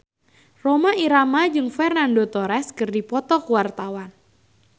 Rhoma Irama jeung Fernando Torres keur dipoto ku wartawan